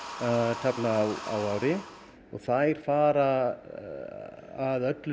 taflna á ári þær fara að öllu